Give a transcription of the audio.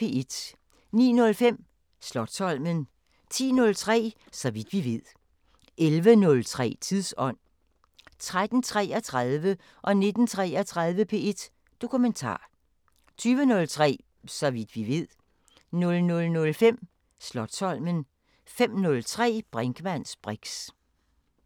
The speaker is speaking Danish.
09:05: Slotsholmen 10:03: Så vidt vi ved 11:03: Tidsånd 13:33: P1 Dokumentar 19:33: P1 Dokumentar 20:03: Så vidt vi ved 00:05: Slotsholmen 05:03: Brinkmanns briks